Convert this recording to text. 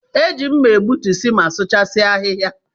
E ji mma egbutusi ma sụchasia ahịhịa.